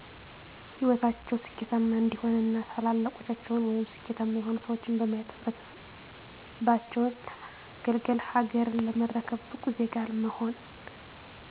ሂወታቸው ስኬታማ እንዲሆን እና ታላላቆቻቸውን ወይም ስኬታማ የሆኑ ሰዎችን በማየት ህብረተሰባቸውን ለማገልገል፣ ሀገርን ለመረከብ፣ ብቁ ዜጋ ለመሆን።